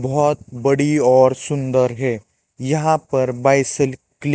बहोत बड़ी और सुंदर है यहां पर बायसल की--